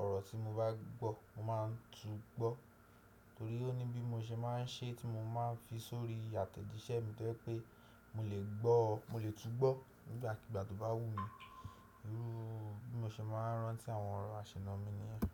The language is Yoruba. ọ̀rọ̀ tí mo bá gbọ́, mo máa ń tú gbọ́. Torí ó ní bí mo ṣe máa ń ṣe tí mo máa ń fi sórí àtẹ̀jíṣẹ́ mi tó jẹ́ pé mo lè gbọ́, mo lè tú gbọ́ nígbàkigbà tó bá wù mí. Irú bí mo ṣe máa ń rántí àwọn ọ̀rọ̀ àṣìna mi niyen.